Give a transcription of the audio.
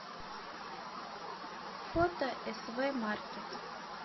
фото св маркет